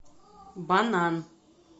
банан